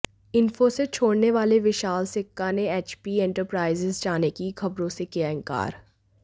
इंफोसिस छोड़ने वाले विशाल सिक्का ने एचपी एंटरप्राइजेज जाने की खबरों से किया इनकार